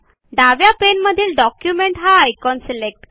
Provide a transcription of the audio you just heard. डाव्या पाने मधील डॉक्युमेंट हा आयकॉन सिलेक्ट करा